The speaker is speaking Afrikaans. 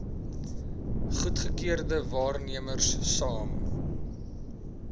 goedgekeurde waarnemers saam